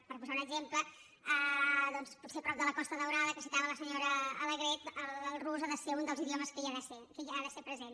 per posar un exemple potser a prop de la costa daurada que citava la senyora alegret el rus ha de ser un dels idiomes que ha de ser present